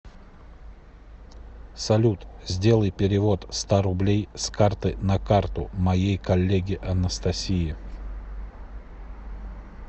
салют сделай перевод ста рублей с карты на карту моей коллеге анастасии